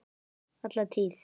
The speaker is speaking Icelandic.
Alla tíð.